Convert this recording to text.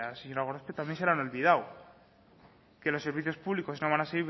señora gorospe también se le han olvidado que los servicios públicos no van a